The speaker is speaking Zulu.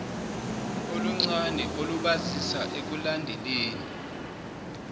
oluncane olubasiza ekulandeleni